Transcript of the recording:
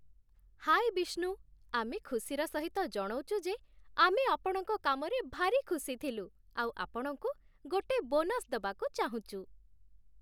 ହାଏ ବିଷ୍ଣୁ, ଆମେ ଖୁସିର ସହିତ ଜଣଉଚୁ ଯେ, ଆମେ ଆପଣଙ୍କ କାମରେ ଭାରି ଖୁସି ଥିଲୁ ଆଉ ଆପଣଙ୍କୁ ଗୋଟେ ବୋନସ୍ ଦବାକୁ ଚାହୁଁଚୁ ।